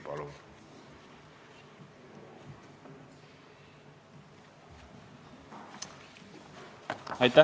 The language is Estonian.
Palun!